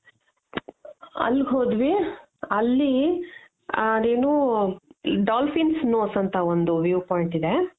ಅಲ್ಗೊದ್ವಿ ಅಲ್ಲಿ ಅದೇನೋ dolphin nose ಅಂತ ಒಂದ್ view ಪಾಯಿಂಟ್ ಇದೆ.